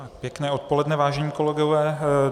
Pěkné odpoledne, vážení kolegové.